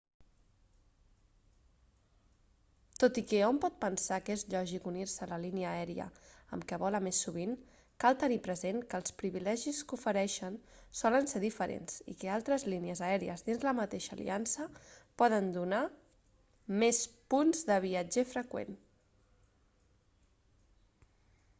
tot i que hom pot pensar que és lògic unir-se a la línia aèria amb què vola més sovint cal tenir present que els privilegis que ofereixen solen ser diferents i que altres línies aèries dins de la mateixa aliança poden donar més punts de viatger freqüent